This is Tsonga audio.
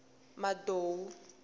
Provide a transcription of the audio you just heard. madou